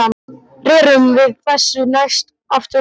Rerum við þessu næst aftur í land.